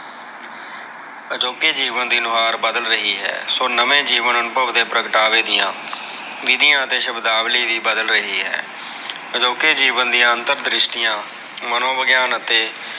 ਅਜੋਕੇ ਜੀਵਨ ਦੀ ਨੁਹਾਰ ਬਦਲ ਰਹੀ ਹੈ। ਸੋ, ਨਵੇਂ ਜੀਵਨ ਅਨੁਭਵ ਦੇ ਪ੍ਰਗਟਾਵੇ ਦੀਆਂ ਵਿਧੀਆਂ ਤੇ ਸ਼ਬਦਾਵਲੀ ਵੀ ਬਦਲ ਰਹੀ ਹੈ। ਅਜੋਕੇ ਜੀਵਨ ਦੀਆਂ ਅੰਤਰ ਦ੍ਰਿਸ਼ਟੀਆ, ਮਨੋਵਿਗਿਆਨ ਅਤੇ